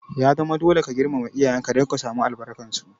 Ya zama dole ka girmama iyayen ka don ka samu albarkar su!